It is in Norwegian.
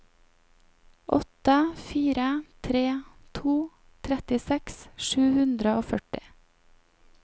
åtte fire tre to trettiseks sju hundre og førti